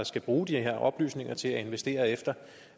skal bruge de her oplysninger til at investere efter